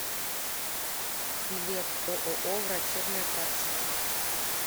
билет ооо врачебная практика